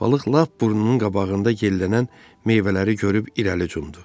Balıq lap burnunun qabağında yellənən meyvələri görüb irəli cumdu.